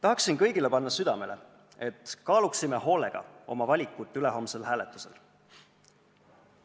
Tahaksin kõigile südamele panna, et ülehomsel hääletusel oma valikut hoolega kaaluksime!